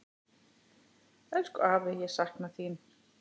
Elsku afi, ég sakna þín.